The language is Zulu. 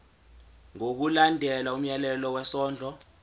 ngokulandela umyalelo wesondlo